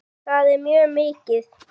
Það er mjög mikið.